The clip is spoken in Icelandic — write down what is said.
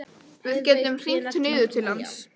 Við gætum hringt niður til hans.